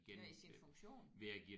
Ja i sin funktion